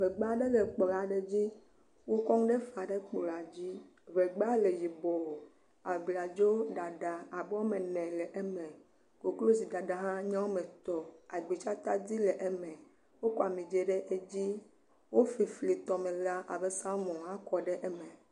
Ŋɛgba aɖe le kplɔ dzi. Wo kɔ nu ɖe fa ɖe kplɔ dzi ŋɛgba le yibɔ. Abladzo abe woa me ene le eme. Koklozidada hã nye woa eme etɔ. Agbitsa tadi le eme. Wo kɔ ami dzɖ ɖe edzi. Wo flifli tɔmela abe salomɔ ha kɔ ɖe eme.